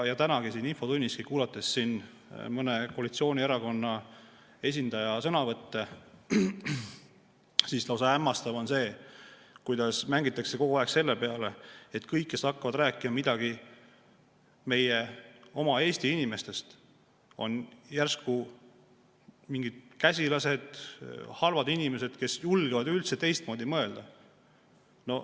Ja tänagi siin infotunnis, kuulates mõne koalitsioonierakonna esindaja sõnavõttu, tundus hämmastav, kuidas mängitakse kogu aeg selle peale, et kõik, kes hakkavad rääkima midagi meie oma Eesti inimestest, on järsku mingid käsilased, halvad inimesed, kes julgevad teistmoodi mõelda.